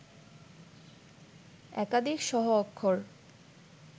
একাধিক সহ-অক্ষর